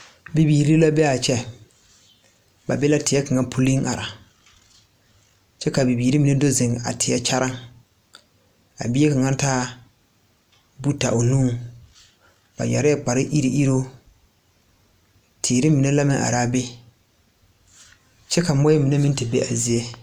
Bibiire la bee a kyɛ ba be la teɛ kaŋa puliŋ are kyɛ ka bobiire mine do zeŋ a teɛ kyaraŋ a bie kaŋa taa buuta o nuŋ ba yɛrɛɛ kpare iruŋiruŋ teere mine la meŋ araa be kyɛvka moɔɛ mine meŋ ti be a zie.